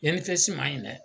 INPS man ɲi dɛ.